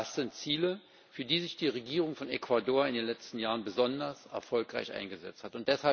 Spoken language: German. Das sind Ziele, für die sich die Regierung von Ecuador in den letzten Jahren besonders erfolgreich eingesetzt hat.